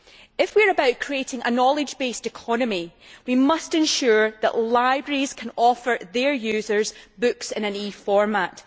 If we are about creating a knowledge based economy, we must ensure that libraries can offer their users books in an electronic format.